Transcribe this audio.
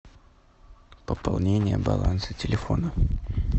пополнение баланса телефона